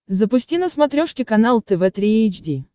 запусти на смотрешке канал тв три эйч ди